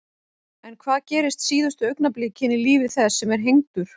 En hvað gerist síðustu augnablikin í lífi þess sem er hengdur?